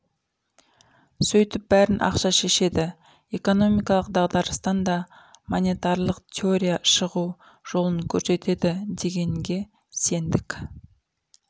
сөйтіп бәрін ақша шешеді экономикалық дағдарыстан да монетарлық теория шығу жолын көрсетеді дегенге сендік